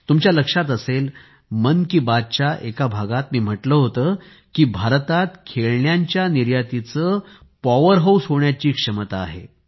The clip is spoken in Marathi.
तुमच्या लक्षात असेल मन की बातच्या एका भागात मी म्हटले होते की भारतात खेळण्यांच्या निर्यातीचे पॉवर हाऊस होण्याची क्षमता आहे